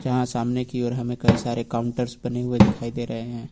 जहाँ सामने की और हमें कई सारे काउन्टर्स बने हुए दिखाई दे रहें है।